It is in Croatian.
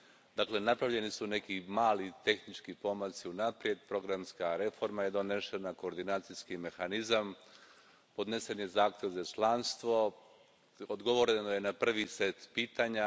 Dakle, napravljeni su neki mali tehnički pomaci unaprijed, programska reforma je donesena, koordinacijski mehanizam, podnesen je zahtjev za članstvo, odgovoreno je na prvi set pitanja.